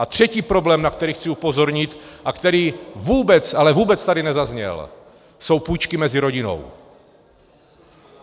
A třetí problém, na který chci upozornit a který vůbec, ale vůbec tady nezazněl, jsou půjčky mezi rodinou.